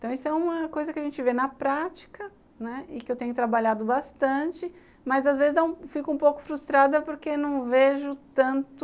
Então, isso é uma coisa que a gente vê na prática, né, e que eu tenho trabalhado bastante, mas às vezes fico um pouco frustrada porque não vejo tanto